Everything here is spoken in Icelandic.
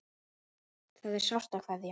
Það er sárt að kveðja.